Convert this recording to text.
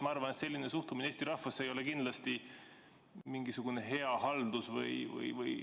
Ma arvan, et selline suhtumine Eesti rahvasse ei ole kindlasti hea haldus.